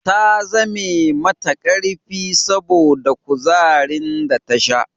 Ta zame mata karfi saboda kuzarin da ta sha